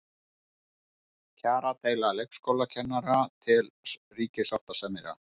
Kjaradeila leikskólakennara til ríkissáttasemjara